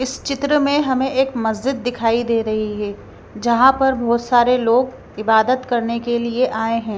इस चित्र में हमें एक मस्जिद दिखाई दे रही है जहाँ पर बहोत सारे लोग इबादत करने के लिए आए हैं।